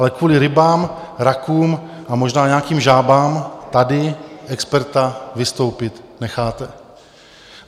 Ale kvůli rybám, rakům a možná nějakým žábám tady experta vystoupit necháte.